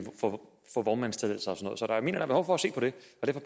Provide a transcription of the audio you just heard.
få vognmandstilladelser og sådan er behov for at se på det